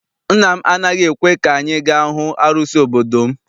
Nna m anaghị ekwe ka anyị ga hụ arụsị obodo m.